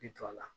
I jɔ a la